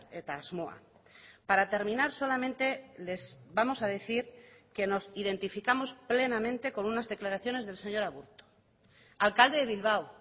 eta asmoa para terminar solamente les vamos a decir que nos identificamos plenamente con unas declaraciones del señor aburto alcalde de bilbao